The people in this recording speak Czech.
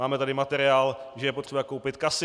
Máme tady materiál, že je potřeba koupit casy.